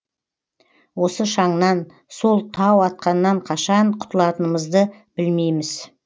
осы шаңнан сол тау атқаннан қашан құтылатынымызды білмейміз